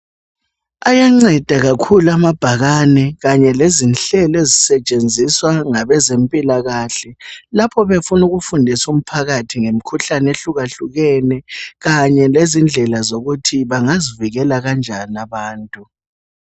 Ayanceda kakhulu amabhakane kanye lezinhlelo ezisetshenziswa ngabezempilakahle lapho befuna ukufundisa umphakathi ngemikhuhlane ehlukahlukene kanye lendlela zokuthi bangazivikela kanjani abantu.